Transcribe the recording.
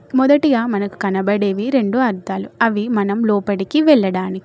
మొదటిగా మనకు కనబడేవి రెండు అద్దాలు. అవి మనం లోపడికి వెళ్లడానికి.